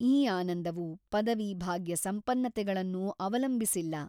ಈ ಆನಂದವು ಪದವೀಭಾಗ್ಯ ಸಂಪನ್ನತೆಗಳನ್ನು ಅವಲಂಬಿಸಿಲ್ಲ.